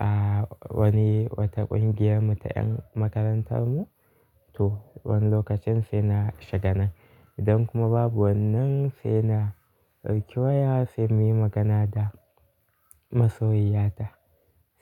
a wani wata ƙungiyar mu ta ƴan makarantar mu to wani lokacin sai na shiga nan. Idan kuma babu wannan sai na ɗauki waya sai muyi magana da masoyiya ta.